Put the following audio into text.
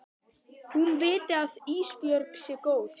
Hún viti að Ísbjörg sé góð.